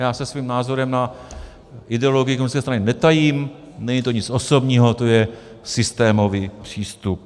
Já se svým názorem na ideologii komunistické strany netajím, není to nic osobního, to je systémový přístup.